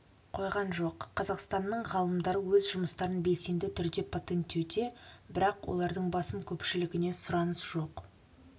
қойған жоқ қазақстанның ғалымдары өз жұмыстарын белсенді түрде патенттеуде бірақ олардың басым көпшілігіне сұраныс жоқ